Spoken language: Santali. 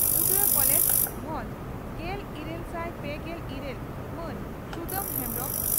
ᱩᱫᱽᱲᱟ ᱠᱚᱞᱮᱡᱽ ᱵᱷᱟᱸᱡᱽ ᱾ᱜᱮᱞ ᱤᱨᱟᱹᱞ ᱥᱟᱭ ᱯᱮᱜᱮᱞ ᱤᱨᱟᱹᱞ ᱢᱟᱱ ᱥᱩᱫᱟᱢ ᱦᱮᱢᱵᱽᱨᱚᱢ